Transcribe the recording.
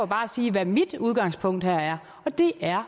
bare sige hvad mit udgangspunkt er og det er